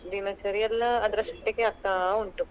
ದಿನಚರಿ ಎಲ್ಲ ಅದ್ರಷ್ಟಕ್ಕೆ ಆಗ್ತಾ ಉಂಟು.